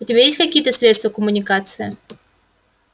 у тебя есть какие-то средства коммуникации